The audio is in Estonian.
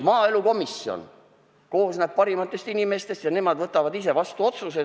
Maaelukomisjon koosneb parimatest inimestest ja nemad võtavad ise vastu otsuse.